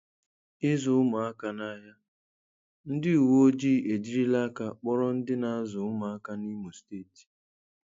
Ịzụ ụmụaka n'ahịa: Ndị uwe ojii ejirila aka kpọrọ ndị na-azụ ụmụaka n’Imo Steeti.